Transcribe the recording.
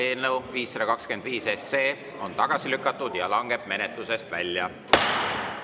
Eelnõu 525 on tagasi lükatud ja langeb menetlusest välja.